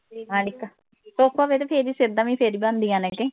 ਹਾਂ ਕੋਕਾ ਦੇਖ ਤੇ ਫੇਰ ਈ ਸਿੱਧਾ ਫੇਰ ਈ ਬਣਦੀਆ ਨੇ ਕੇ